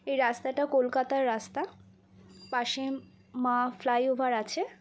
এই রাস্তাটা কোলকাতা র রাস্তা পাশে মা ফ্লাই ওভার আছে।